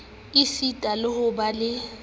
esita le ho ba le